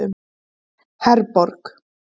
Herborg